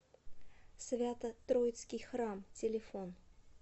свято троицкий храм телефон